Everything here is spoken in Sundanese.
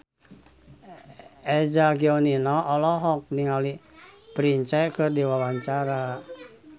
Eza Gionino olohok ningali Prince keur diwawancara